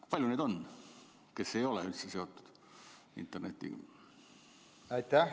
Kui palju neid on, kes ei ole üldse seotud internetiga?